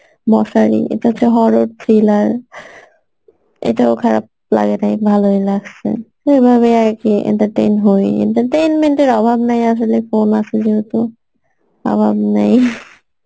মশারি এটা একটা horror thriller এটাও খারাপ লাগেনি ভালোই লাগসে এভাবেই আর কি entertain হয় entertainment এর অভাব নেই আসলে phone আসে যেহেতু অভাব নেই